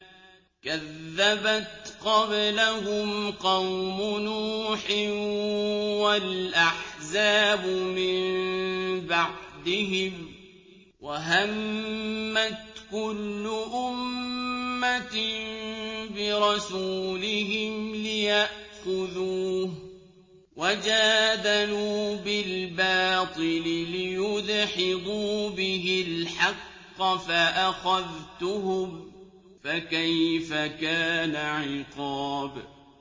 كَذَّبَتْ قَبْلَهُمْ قَوْمُ نُوحٍ وَالْأَحْزَابُ مِن بَعْدِهِمْ ۖ وَهَمَّتْ كُلُّ أُمَّةٍ بِرَسُولِهِمْ لِيَأْخُذُوهُ ۖ وَجَادَلُوا بِالْبَاطِلِ لِيُدْحِضُوا بِهِ الْحَقَّ فَأَخَذْتُهُمْ ۖ فَكَيْفَ كَانَ عِقَابِ